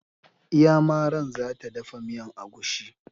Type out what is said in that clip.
Iyamaran za ta dafa miyan agushi.